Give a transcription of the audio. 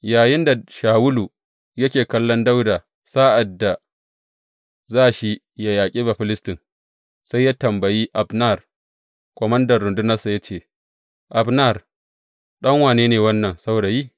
Yayinda Shawulu yake kallon Dawuda sa’ad da za shi yă yaƙi Bafilistin, sai ya tambayi Abner, komandan rundunarsa ya ce, Abner, ɗan wane ne wannan saurayi?